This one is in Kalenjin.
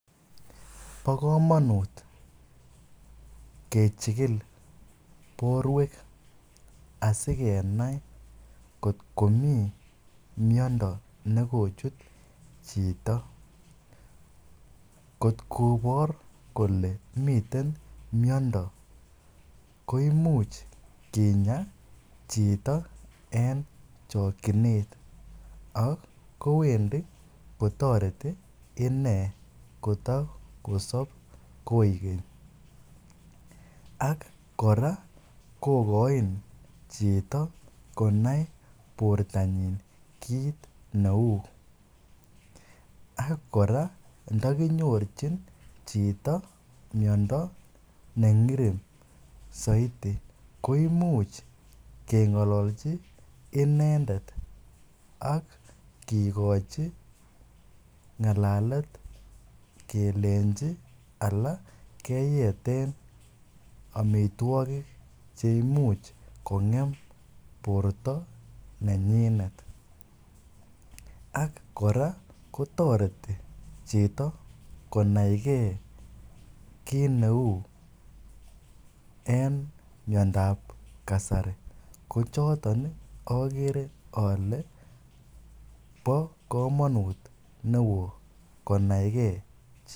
Bo kamanut kechikil borwek asikenai kot komi miondo ne kochut chito, kot kobor kole miten miondo, koimuch kinya chito en chokchinet ak kowendi kotoreti ine koto kosop koek keny, ak kora kokoin chito konai bortanyin kiit ne uu, ak kora ndakinyorchin chito miondo ne zaidi koimuch kengololchi inendet ak kikochi ngalalet kelenchi ala keyeten amitwogik che imuch kongem borta nenyinet, ak kora kotoreti chito konaikei kiit ne uu en miondab kasari, ko choton ii akere ale bo kamanut ne oo konaikei.